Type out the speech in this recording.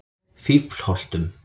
Fíflholtum